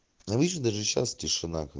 ну видишь даже сейчас тишина ка